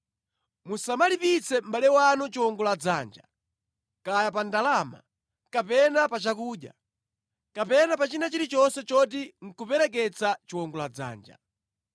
Musamalipitse mʼbale wanu chiwongoladzanja, kaya pa ndalama, kapena pa chakudya, kapena pa china chilichonse choti nʼkupereketsa chiwongoladzanja.